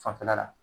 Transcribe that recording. Fanfɛla la